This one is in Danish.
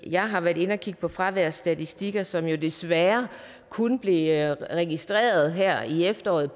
jeg har været inde og kigge på fraværsstatistikker som jo desværre kun blev registreret her i efteråret